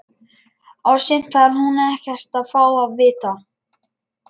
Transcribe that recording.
Og sumt þarf hún ekkert að fá að vita.